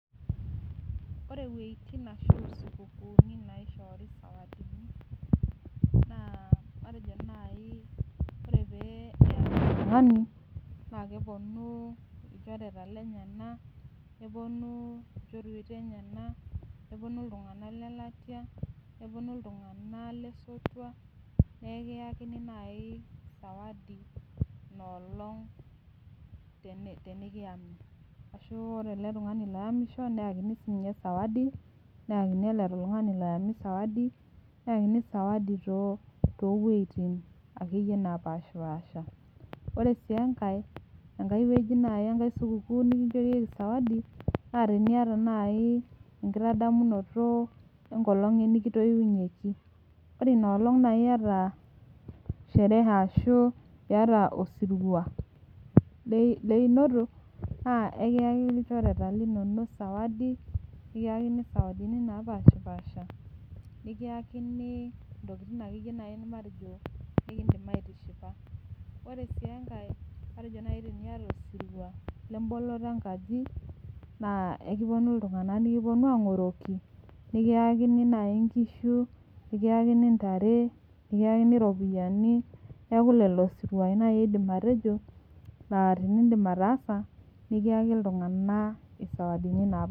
Ore wejitin ashu supukuuni naishoori sawadini ,naa matejo naaji ore pee eyami oltung'ani ,naa keponu lchoreta lenyenak ,neponu nchorweta enyenak, neponu iltung'anak leletai ,neponu iltung'anak leletai naa ekiyakini naaji sawadi ina olong' tenikiyami ,ashu ore ele tung'ani oyamisho neyakini sawadi ,nayakini ele tung'ani oyamaki sawadi toowejitin akeyie naapashpaasha. Ore sii enkae supukuuni naaji nikincherieki sawadi naa teniyata naaji enkitadamunoto enkolong' nikitoiunyieki, ore ina olong naa iyata sherehe ashu osiruwa leinoto naa ekiyaki ilchoreta linonok sawadi, nikiyakini sawadini naapashipasha ,nikiyakini ntokiting' akeyie naaji nikiindim aitishipa. Ore sii enkae matejo naaji tiniyata osirua lemboloto enkaji ,naa ekiponu iltung'anak nikiponu ang'oroki ,nikiyakini naaji nkishu, nikiyakini ntare ,nikiyakini ropiyiani ,neeku lelo siruai naaji aidim atejo laa tindim ataasa nikiyaki iltung'anak sawadini.